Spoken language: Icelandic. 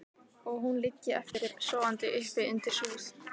Og hún liggi eftir, sofandi uppi undir súð.